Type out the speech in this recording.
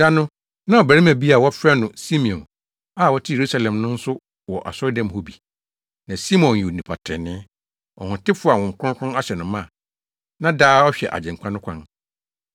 Da no na ɔbarima bi a wɔfrɛ no Simeon a ɔte Yerusalem no nso wɔ asɔredan mu hɔ bi. Na Simeon yɛ onipa trenee, ɔhotefo a Honhom Kronkron ahyɛ no ma a na daa ɔhwɛ Agyenkwa no kwan.